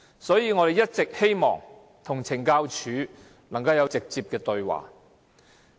所以，我們一直也希望與懲教署作直接對話。